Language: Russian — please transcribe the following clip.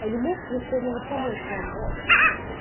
а не может ли кто-нибудь помочь вам